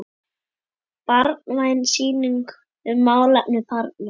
Barnvæn sýning um málefni barna.